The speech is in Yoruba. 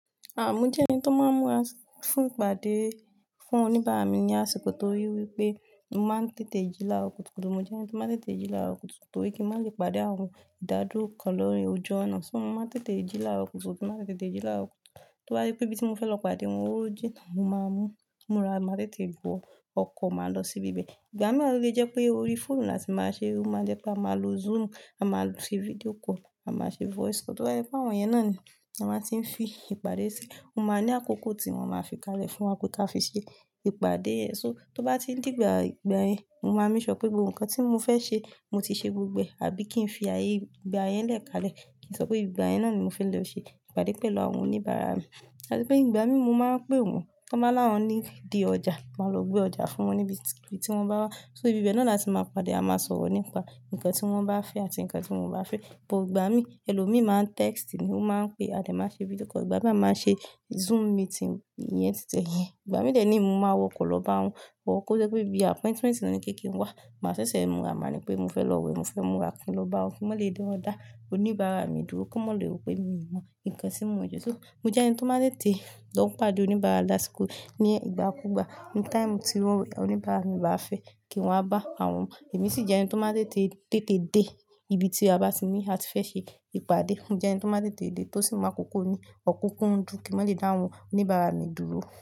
À mo jẹ́ ẹni tó máa ń múra fún ìpàdé fún oníbàárà mi ní àsìkò, tó rí wípé mo máa ń tètè jí láaro kùtùkùtù. Mo jẹ́ ẹni tó máa ń tètè jí láaro kútù torí kí n má lè pàdé àwọn ìdádúró kan ni ojú ọ̀nà. Ṣó mo máa ń tètè jí láaro kútù? Tí n bá ti tètè jí láaro kutù. Tó bá jẹ́ pé ibi tí mo fẹ́ lọ padà wọn ò jìnnà, mo máa mu múra, màá tètè wo ọkọ̀, màá lọ sí ibi bẹ̀. Ìgbà mìí wa ó lè jẹ́ pé orí fóònù ni latì máa ṣe. Ó máa jẹ́ pé a máa lo Zoom, a máa lo ṣe video call, a máa ṣe voice call. Tó bá jẹ pé àwọn yẹn náà ni a maa ti fi ìpàdé ṣi, ó máa ní àkókò tí wọ́n máa fi kalẹ̀ fún wa pé ká fi ṣe ìpàdé yẹn. So tó bá ti ń dìgbà ìgbà yẹn, mo máa make sure pé gbogbo nǹkan tí mo fẹ́ ṣe mo ti ṣe gbogbo ẹ̀, àbí kí n fi ayé ìgbà yẹn lẹ́kalẹ̀ kí n sọ pé ìgbà yẹn náà ni mo fẹ́ lọ ṣe ìpàdé pẹ̀lú àwọn oníbàárà mi. Àti pé ìgbà mìí mo máa ń pé wọ́n tó bá láwọn nídi ọjà, mo máa lọ gbé ọjà fún wọn níbi tí wọ́n bá wá. So ibi bẹ́ẹ̀ náà la tí máa pàdé, a máa sọ̀rọ̀ nípa nǹkan tí wọ́n bá fẹ́ àti nǹkan tí wọn ò bá fẹ́. But ìgbà mìí ẹlòmíì máa ń text ni ó máa ń pe a dé, máa ṣe video call. Ìgbà mìí a ń ṣe Zoom meeting yẹn títẹ̀ yẹn. Ìgbà mìí de niyii mo máa wọ ọkọ̀ lọ bá wọn or kó jẹ́ pé bí appointment wọn ní pé kin wá, màá ṣẹ̀ṣẹ̀ múra. Màá ní pé mo fẹ́ lọ wẹ̀, mo fẹ́ múra kí n lọ bá wọn kí wọ́n lè da- dá oníbàárà mi dúró kan mọ́ lè rò pé mi mọ nǹkan tí mo ń ṣe sọ̀. Mo jẹ́ ẹni tó máa ń tètè lọ pàdé oníbàárà lásìkò ní ìgbà kúùgbà ní time tí wọ́n, oníbàárà mi bá fẹ́ kí n wá bá àwọn. Èmi sì jẹ́ ẹni tó máa ń tètè dè, ibi tí a bá ti ní áti fẹ́ ṣe ìpàdé. Mo jẹ́ ẹni tó máa ń tètè dè tó sì mu àkókò ní ọ̀kúńkúndùn kí máa lè dá àwọn oníbàárà mi dúró.